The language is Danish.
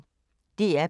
DR P1